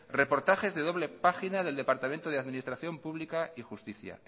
reportaje de doble página del departamento de administración pública y justicia